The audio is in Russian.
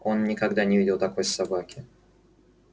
он никогда не видел такой собаки